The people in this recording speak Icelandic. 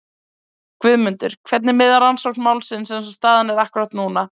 Guðmundur, hvernig miðar rannsókn málsins eins og staðan er akkúrat núna?